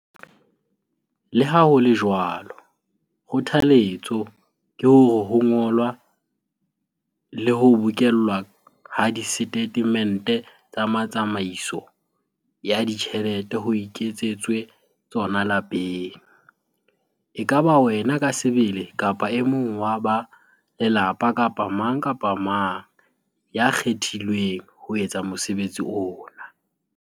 Le ha ho le jwalo, kgothaletso ke hore ho ngolwa le ho bokellwa ha disetatemente tsa tsamaiso ya ditjhelete ho iketsetswe tsona lapeng - e ka ba wena ka sebele kapa e mong wa ba lelapa kapa mang kapa mang ya kgethilweng ho etsa mosebetsi ona.